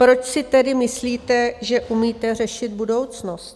Proč si tedy myslíte, že umíte řešit budoucnost?